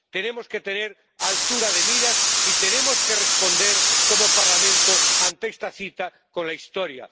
Tenemos que tener altura de miras y tenemos que responder como Parlamento ante esta cita con la historia.